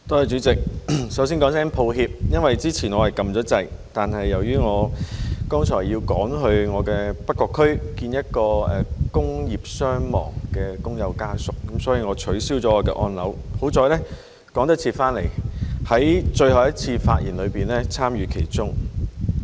主席，首先說聲抱歉，因為之前我按了鈕，但由於我剛才要趕去我的北角區見一名工業傷亡工友的家屬，所以我取消了我的按鈕，幸好趕得及返來在最後一輪發言參與其中。